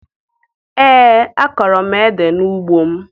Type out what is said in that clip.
Ee, akọrọ m édè n'ugbo m